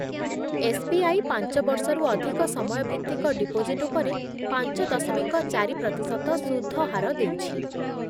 S B I ପାଞ୍ଚ ବର୍ଷରୁ ଅଧିକ ସମୟ ଭିତ୍ତିକ ଡିପୋଜିଟ୍ ଉପରେ ପାଞ୍ଚ ଦଶମିକ ଚାରି ପ୍ରତିଶତ ସୁଧ ହାର ଦେଉଛି ।